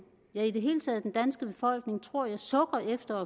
ja i det hele taget den danske befolkning tror jeg sukker efter